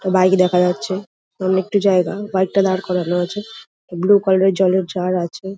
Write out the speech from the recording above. একটা বাইক দেখা যাচ্ছে অনেকটা জায়গা বাইক টা দাঁড় করানো আছে ব্লু কালার এর জলের জার আছে।